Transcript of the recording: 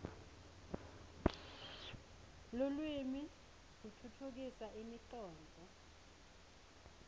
lulwimi kutfutfukisa imicondvo